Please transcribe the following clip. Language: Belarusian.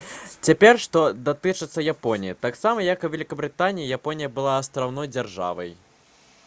цяпер што датычыцца японіі таксама як і вялікабрытанія японія была астраўной дзяржавай